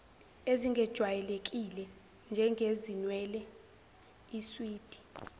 ezingejwayelekile njengezinwele iswidi